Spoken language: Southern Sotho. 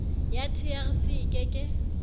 ya trc e ke ke